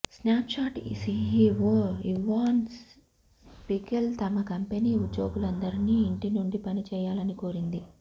snap chat CEO Evan Spiegel తమ company ఉద్యోగులందరినీ ఇంటి నుండి పని చేయలని కోరింది